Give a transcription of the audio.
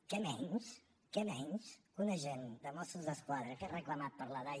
què menys què menys que un agent de mossos d’esquadra que és reclamat per la dai